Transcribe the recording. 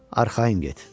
Arxayın get.